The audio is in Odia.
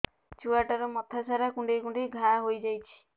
ଛୁଆଟାର ମଥା ସାରା କୁଂଡେଇ କୁଂଡେଇ ଘାଆ ହୋଇ ଯାଇଛି